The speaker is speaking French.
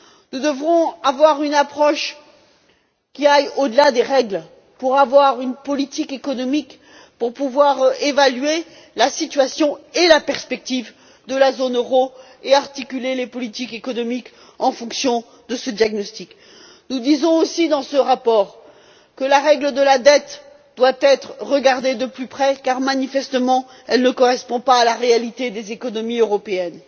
Nous devrons avoir une approche qui aille au delà des règles pour avoir une politique économique, pour pouvoir évaluer la situation et la perspective de la zone euro et articuler les politiques économiques en fonction de ce diagnostic. Nous disons aussi dans ce rapport que la règle de la dette doit être examinée de plus près, car manifestement, elle ne correspond pas à la réalité des économies européennes.